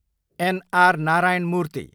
An. R. Narayana मूर्ति